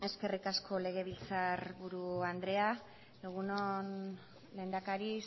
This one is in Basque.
eskerrik asko legebiltzarburu andrea egun on lehendakari